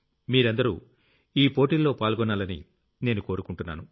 మీరందరూ ఈ పోటీల్లో పాల్గొనాలని నేను కోరుకుంటున్నాను